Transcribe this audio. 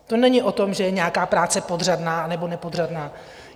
To není o tom, že je nějaká práce podřadná anebo nepodřadná.